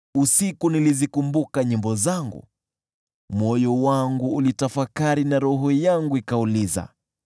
nilikumbuka nilivyoimba nyimbo usiku. Moyo wangu ulitafakari na roho yangu ikauliza: